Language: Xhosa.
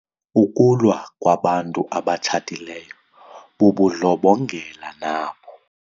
Ukulwa kwabantu abatshatileyo bubundlobongela nabo.